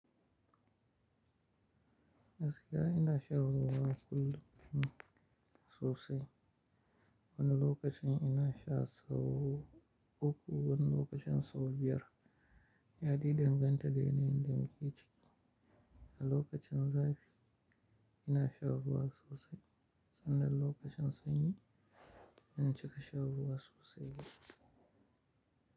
Gaskiya ina shan ruwa kullum sosai. Wani lokacin ina sha sau uku, wani lokacin sau biyar. Yadai danganta da yanayin da muke ciki. A lokacin zafi ina sha ruwa sosai sannan lokacin sanyi in cika sha ruwa sosai.